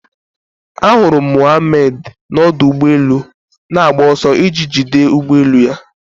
Ahụrụ m Mohammad n'ọdụ ụgbọ elu na-agba ọsọ iji jide ụgbọ elu ya